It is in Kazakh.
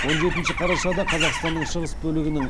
он жетінші қарашада қазақстанның шығыс бөлігінің